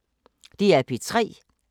DR P3